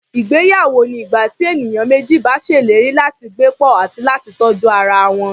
Ìgbéyawó ni ìgbà tí ènìyàn méjì bá ṣèlérí láti gbé pọ̀, àti láti tọ́jú ara wọn.